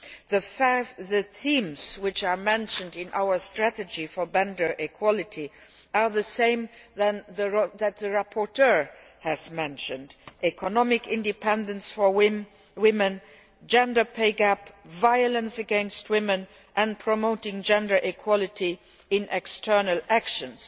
The themes which are mentioned in our strategy for gender equality are the same as the ones the rapporteur has mentioned economic independence for women, gender pay gap, violence against women and promoting gender equality in external actions.